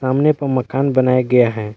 सामने पर मकान बनाया गया हैं।